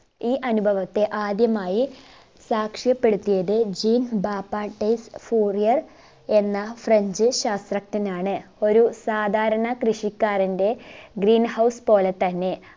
ഈ അനുഭവത്തെ ആത്യമായി സാക്ഷ്യപെടുത്തിയത് എന്ന french ശാസ്ത്രജ്ഞനാണ് ഒരു സാധാരണ കൃഷിക്കാരന്റെ green house പോലെത്തന്നെ